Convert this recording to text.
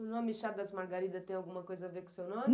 O nome Chá das Margaridas tem alguma coisa a ver com o seu nome?